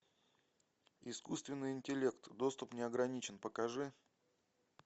искусственный интеллект доступ неограничен покажи